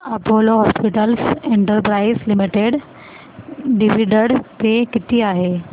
Apollo hospitals enterprise limited dividend pay किती आहे